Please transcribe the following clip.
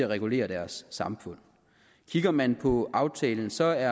regulere deres samfund kigger man på aftalen ser